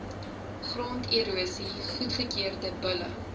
gronderosie goedgekeurde bulle